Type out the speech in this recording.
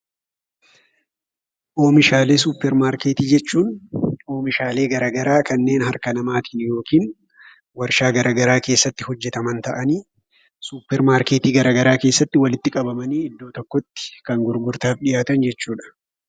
Oomishaalee Suppermaarkeetii jechuun oomishaalee gara garaa kan harka namaatiin yookiin warshaa gara garaa keessatti hojjetaman ta'anii suppermaarkeetii gara garaa keessatti iddoo tokkotti walitti qabamanii kan gurgurtaaf dhiyaatan jechuudha.